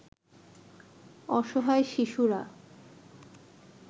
অসহায় শিশুরা